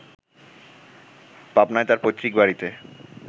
পাবনায় তার পৈত্রিক বাড়িতে